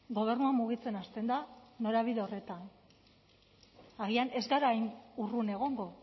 gobernua mugitzen hasten da norabide horretan agian ez gara hain urrun egongo